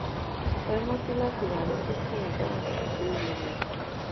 hẹ ranti lati wa ni kikun idahun si ibeere rẹ